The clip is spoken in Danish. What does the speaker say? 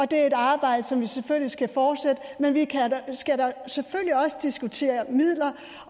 det er et arbejde som vi selvfølgelig skal fortsætte men vi skal da selvfølgelig også diskutere midler